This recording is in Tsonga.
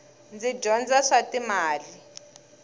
ndzi dyondza swa timali